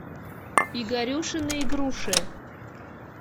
игорюшины игруши